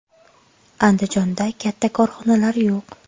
Andijonda katta korxonalar yo‘q.